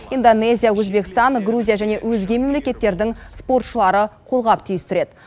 индонезия өзбекстан грузия және өзге мемлекеттердің спортшылары қолғап түйістіреді